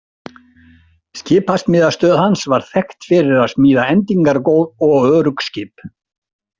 Skipasmíðastöð hans var þekkt fyrir að smíða endingargóð og örugg skip.